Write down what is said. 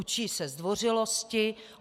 Učí se zdvořilosti.